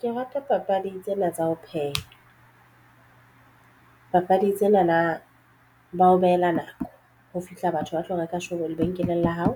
Ke rata papadi tsena tsa ho pheha papadi tsena na ba o behela nako ho fihla batho ba tlo reka shopong lebenkeleng la hao,